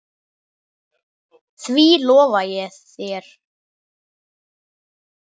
Því lofa ég þér